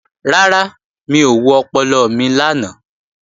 Rárá, mi ò wo ọpọlọ mi lánàá